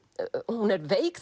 hún er veik